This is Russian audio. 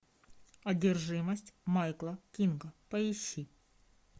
одержимость майкла кинга поищи